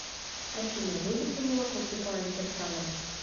афина любит ли молоко светлана кирсанова